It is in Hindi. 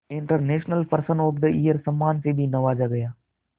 international person of the year सम्मान से भी नवाजा गया